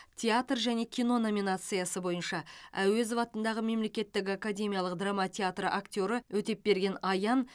театр және кино номинациясы бойынша әуезов атындағы мемлекеттік академиялық драма театры актері өтепберген аян